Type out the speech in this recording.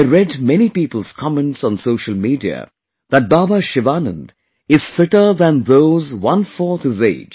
I read many people's comments on social media, that Baba Sivanand is fitter than those onefourth his age